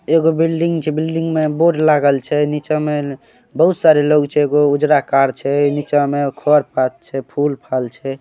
एगो बिल्डिंग छै बिल्डिंग में बोर्ड लागल छै नीचे में बहुत सारे लोग छै एगो उजड़ा कार छै नीचा में खर पात छै फूल फाल छै।